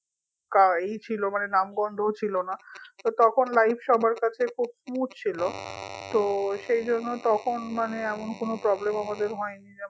তা এই ছিল নাম গন্ধও ছিল না তো তখন life সবার কাছে খুব smooth ছিল তো সেই জন্য তখন মানে এমন কোনো problem ও আমাদের হয়নি যেমন